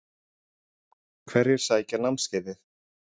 Hverjir sækja námskeiðið?